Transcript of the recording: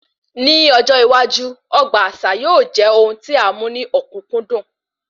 Ní ọjọ iwájú, ọgbà àṣà yóò jẹ ohun tí a mú ní okunkundun